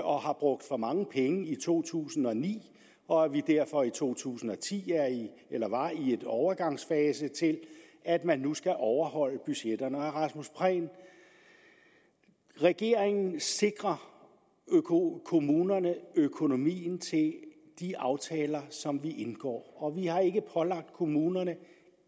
og har brugt for mange penge i to tusind og ni og at vi derfor i to tusind og ti var i en overgangsfase til at man nu skal overholde budgetterne rasmus prehn regeringen sikrer kommunerne økonomien til de aftaler som vi indgår og vi har ikke pålagt kommunerne